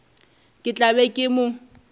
ke tla be ke mo